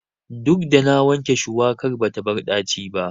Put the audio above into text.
Duk da na wanke shuwakan bata bar ɗaci ba.